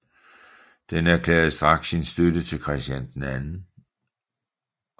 Den erklærede straks sin støtte til Christian 2